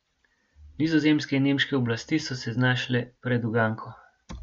Nizozemske in nemške oblasti so se znašle pred uganko.